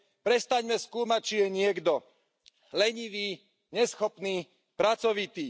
Prestaňme skúmať, či je niekto lenivý, neschopný, pracovitý.